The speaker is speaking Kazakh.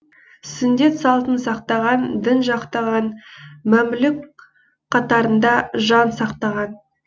сүндет салтын сақтаған дін жақтаған мәмлүк қатарында жан сақтаған